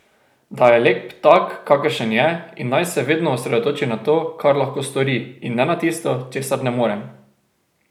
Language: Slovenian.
Da je lep tak, kakršen je, in naj se vedno osredotoči na to, kar lahko stori, in ne na tisto, česar ne more.